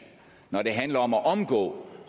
når det handler om at omgå